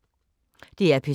DR P2